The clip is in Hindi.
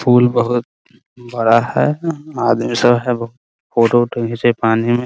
पूल बहुत बड़ा है आदमी सब है बहुत फोटो - वोटो खिचे है पानी में ।